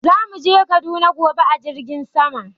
Za mu je kaduna gobe a jirgin sama.